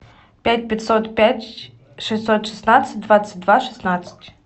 пять пятьсот пять шестьсот шестнадцать двадцать два шестнадцать